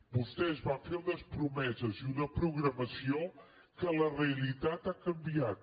vostès van fer unes promeses i una programació que la realitat ha canviat